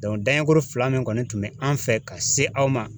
dan ye kɔrɔ fila min kɔni tun bɛ an fɛ ka se aw ma.